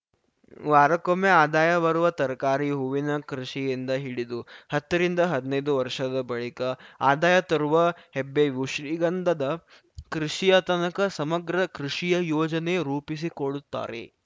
ವಾರಕ್ಕೊಮ್ಮೆ ಆದಾಯ ಬರುವ ತರಕಾರಿ ಹೂವಿನ ಕೃಷಿಯಿಂದ ಹಿಡಿದು ಹತ್ತ ರಿಂದ ಹದ್ನೈದು ವರ್ಷದ ಬಳಿಕ ಆದಾಯ ತರುವ ಹೆಬ್ಬೇವು ಶ್ರೀಗಂಧದ ಕೃಷಿಯತನಕ ಸಮಗ್ರ ಕೃಷಿಯ ಯೋಜನೆ ರೂಪಿಸಿಕೊಡುತ್ತಾರೆ